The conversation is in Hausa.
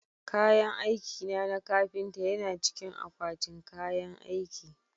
Kayan aikina na kafinta yana cikin akwatin kayan aiki